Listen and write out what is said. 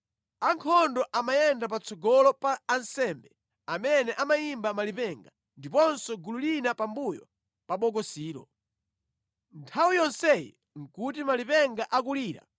Ankhondo amayenda patsogolo pa ansembe amene amayimba malipenga, ndiponso gulu lina pambuyo pa Bokosilo. Nthawi yonseyi nʼkuti malipenga akulira.